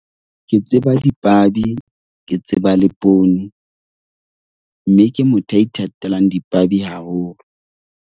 Ke tseba dipabi, ke tseba le poone. Mme ke motho ya ithatelang dipabi haholo.